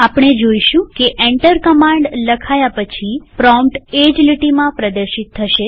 આપણે જોઈશું કે એન્ટર કમાંડ લખાયા પછી પ્રોમ્પ્ટ એ જ લીટીમાં પ્રદર્શિત થશે